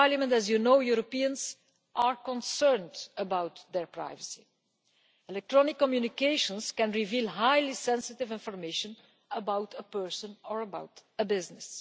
As you know, Europeans are concerned about their privacy. Electronic communications can reveal highly sensitive information about a person or a business.